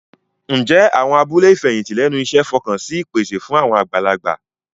Ǹjẹ́ àwọn abúlé ìfẹ̀yìntì lẹ́nu iṣẹ́ fọkàn sí ìpèsè fún àwọn àgbàlagbà?